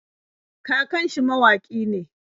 Kakan shi mawaƙi ne.